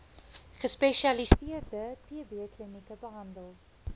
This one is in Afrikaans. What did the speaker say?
gespesialiseerde tbklinieke behandel